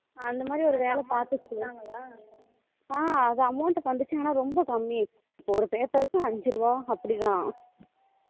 அந்த மாதிரி ஒரு வேலை பாத்துச்சி ஆஹ் அது amount வந்துச்சினா ரொம்ப கம்மி தான் அப்போ ஒரு paper க்கு ஐந்து ரூபாய் அப்படிதான்